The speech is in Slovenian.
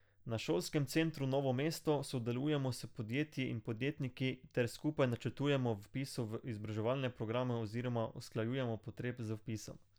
Na Šolskem centru Novo mesto sodelujemo s podjetji in podjetniki ter skupaj načrtujemo vpis v izobraževalne programe oziroma usklajujemo potrebe z vpisom.